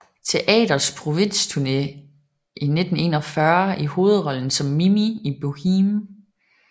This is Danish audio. Teaters provinsturné i 1941 i hovedrollen som Mimi i Boheme